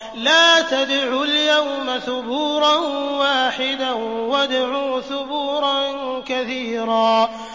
لَّا تَدْعُوا الْيَوْمَ ثُبُورًا وَاحِدًا وَادْعُوا ثُبُورًا كَثِيرًا